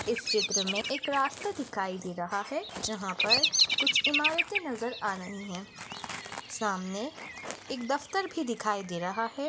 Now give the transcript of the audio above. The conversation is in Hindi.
इस चित्र में एक रास्ता दिखाई दे रहा हे जहा पर कुछ इमारते नजर आ रही है। सामने एक दप्तर भी दिखाई दे रहा हे।